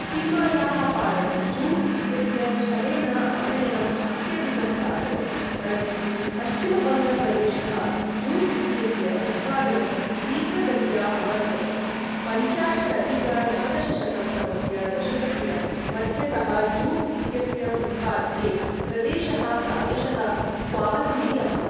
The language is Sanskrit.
सीमायाः पारं जूट् इत्यस्य छलेन आनयनम् अत्यधिकम् प्राचलत्, परन्तु पश्चिमबङ्ग प्रदेशः जूट् इत्यस्य उत्पादनं तीव्रगत्या अवर्धत, पञ्चाशदधिक नवदशशतं तमस्य दशकस्य मध्यतः जूट् इत्यस्य उत्पाद्ये प्रदेशः प्रायशः स्वावलम्बी अभवत्।